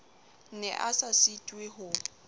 ne a sa sitwe ho